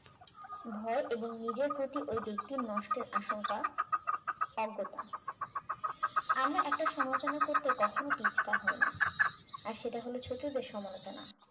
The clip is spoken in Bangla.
ভয় এবং নিজের প্রতি ওই ব্যক্তির নষ্টের আশঙ্কা অজ্ঞতা আমরা একটা সমালোচনা করতে কখনো পিছপা হই না আর সেটা হল ছোটদের সমালোচনা